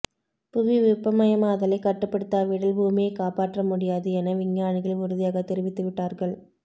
புவி வெப்பமயமாதலை கட்டுப்படுத்தாவிடில் பூமியை காப்பாற்ற முடியாது என விஞ்ஞானிகள் உறுதியாக தெரிவித்துவிட்டார்கள்